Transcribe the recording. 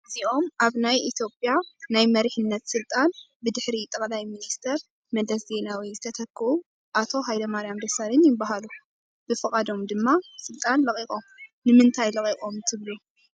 እዚኦም ኣብ ናይ ኢ/ያ ናይ መሪሕነት ስልጣን ብድሕሪ ጠቅላይ ሚ/ር መለስ ዜናዊ ዝተተኩኡ ኣቶ ሃ/ማርያም ደሳለኝ ይባሃሉ፡፡ ብፍቓዶም ድማ ስልጣን ለቒቖም፡፡ ንምንታይ ለቒቖም ትብሉ?